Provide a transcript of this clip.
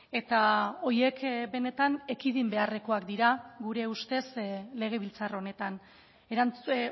eta horiek benetan ekidin beharrekoak dira gure ustez legebiltzar honetan erantzun